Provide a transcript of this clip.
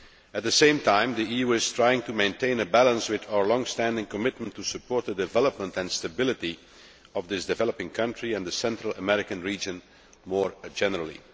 At the same time, the EU is trying to maintain a balance with our long standing commitment to support the development and stability of this developing country and the Central American region more generally.